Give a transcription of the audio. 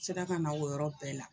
Sera ka na o yɔrɔ bɛɛ la